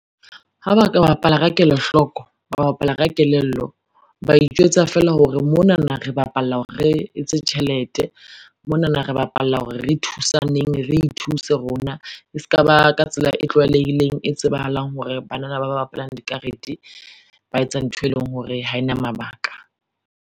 Ha ba ka bapala ka kelohloko, ba bapala ka kelello, ba itjwetsa fela hore monana re bapalla hore re etse tjhelete, monana re bapalla hore re thusaneng, re ithuse rona, e ska ba ka tsela e tlwaeleileng, e tsebahalang hore banana ba bapalang dikarete ba etsa ntho, e leng hore ha e na mabaka.